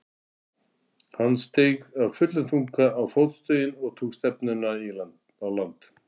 Hann steig af fullum þunga á fótstigin og tók stefnuna á land.